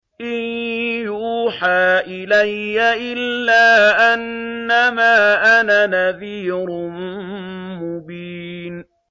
إِن يُوحَىٰ إِلَيَّ إِلَّا أَنَّمَا أَنَا نَذِيرٌ مُّبِينٌ